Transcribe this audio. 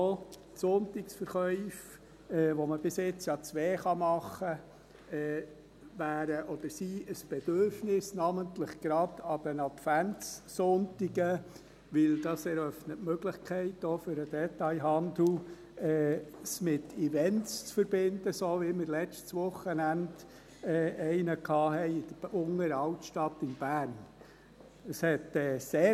Auch die Sonntagsverkäufe, von denen man bisher ja zwei machen kann, wären oder sind ein Bedürfnis, namentlich gerade an den Adventssonntagen, denn das eröffnet auch für den Detailhandel die Möglichkeit, es mit Events zu verbinden, so wie wir letztes Wochenende einen in der Unteren Altstadt in Bern hatten.